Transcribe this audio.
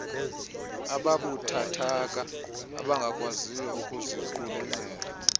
ababuthathaka abangakwaziyo ukuziqulunqela